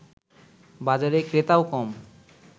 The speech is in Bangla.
বাজারে ক্রেতাও কম